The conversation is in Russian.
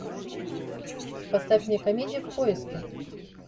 поставь мне комедию в поиске